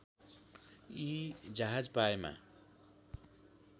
यी जहाज पाएमा